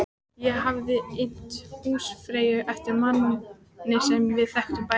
Ég hafði innt húsfreyju eftir manni sem við þekktum bæði.